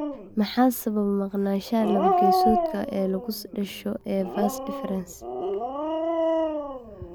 Maxaa sababa maqnaanshaha laba-geesoodka ah ee lagu dhasho ee vas deferens (CBAVD)?